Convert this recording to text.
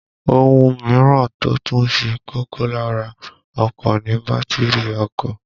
Ohun mìíràn tó tún ṣe kókó lára ọkọ̀ ni bátìrì ọkọ̀